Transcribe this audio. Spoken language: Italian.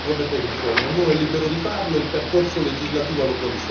Io capisco che qualcuno voglia ritornare sulle proprie posizioni.